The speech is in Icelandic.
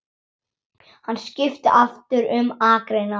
Hann skipti aftur um akrein.